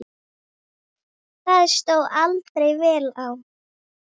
Það stóð aldrei vel á.